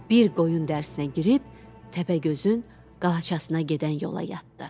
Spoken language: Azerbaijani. Bir qoyun dərisinə girib təpəgözün qalaçasına gedən yola yatdı.